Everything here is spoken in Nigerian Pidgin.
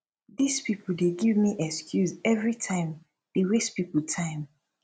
this people dey give excuse everytime dey waste people time